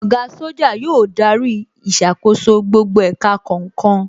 Oga Soja yóò darí ìṣàkóso gbogbo ẹ̀ka kọ̀ọ̀kan